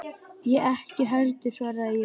Ég ekki heldur, svaraði ég.